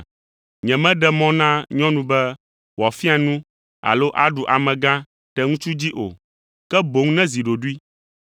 Nyemeɖe mɔ na nyɔnu be wòafia nu alo aɖu amegã ɖe ŋutsu dzi o, ke boŋ nezi ɖoɖoe.